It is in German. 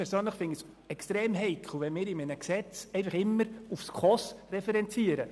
Ich persönlich finde es extrem heikel, in einem Gesetz immer die SKOS als Referenz zu nehmen.